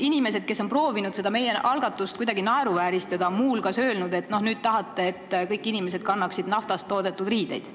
Inimesed on proovinud meie algatust kuidagi naeruvääristada ja muu hulgas öelnud, et nüüd te tahate, et kõik inimesed kannaksid naftast toodetud riideid.